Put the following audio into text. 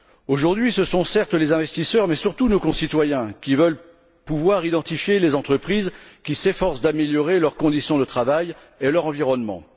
Aujourd'hui, ce sont certes les investisseurs, mais surtout nos concitoyens qui veulent pouvoir identifier les entreprises qui s'efforcent d'améliorer leurs conditions de travail et leur environnement.